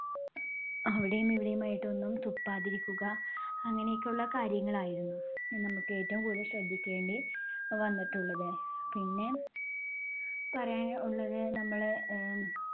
അവിടെയും ഇവിടെയുമായിട്ട് ഒന്നും തുപ്പാതിരിക്കുക, അങ്ങനെയൊക്കെയുള്ള കാര്യങ്ങളായിരുന്നു. നമുക്ക് ഏറ്റവും കൂടുതൽ ശ്രദ്ധിക്കേണ്ടി വന്നിട്ടുള്ളത്. പിന്നെ പറയാൻ ഉള്ളത് നമ്മള് ആഹ്